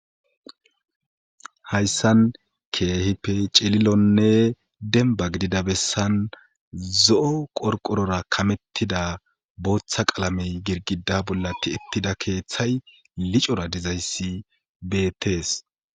hayssan keehipe celilonne denba gidida bessan zo'o qorqorora kamettida booththa qalamey girgida bolla ti'etida keeththay licora dizayssi betees